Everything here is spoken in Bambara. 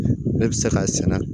Ne bɛ se ka sɛnɛ